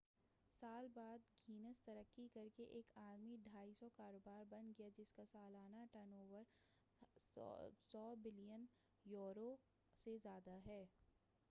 250 سال بعد گینز ترقی کر کے ایک عالمی کاروبار بن گیا ہے جس کا سالانہ turnover billion euro 14.7 billion امریکی ڈالر سے زیادہ ہے۔